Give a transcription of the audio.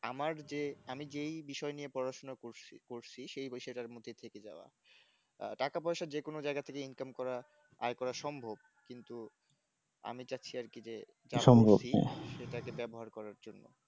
আমার যে আমি যে বিষয় নিয়ে পড়াশোনা করছি করছি সেই বিষয়টার মধ্যেই থেকে যাওয়া টাকা-পয়সা যে কোন জায়গা থেকে income করা আয় করা সম্ভব কিন্তু আমি চাচ্ছি আর কি যে সেটাকে ব্যবহার করার জন্য